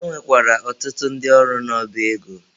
E nwekwara ọtụtụ ndị ọrụ n'ọba ego.